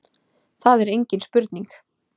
Það er engin spurning